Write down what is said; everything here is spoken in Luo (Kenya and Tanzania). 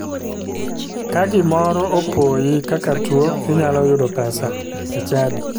Ka gimoro opoyi kaka tuo inyalo yudo pesa e chadi.